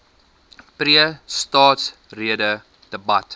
pre staatsrede debat